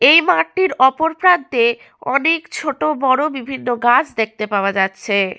এই মাঠটির অপরপ্রান্তে অনেক ছোট বড় বিভিন্ন গাছ দেখতে পাওয়া যাচ্ছে।